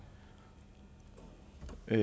at